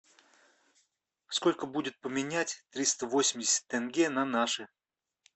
сколько будет поменять триста восемьдесят тенге на наши